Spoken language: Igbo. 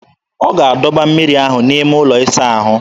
Ọ ga-adọba mmiri ahụ n'ime ụlọ ịsa ahụ.